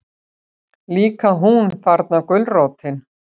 Líka hún, þarna gulrótin.